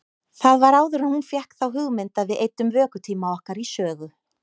Það var áður en hún fékk þá hugmynd að við eyddum vökutíma okkar í sögu.